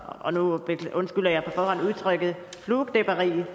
og nu undskylder jeg på forhånd udtrykket flueknepperi der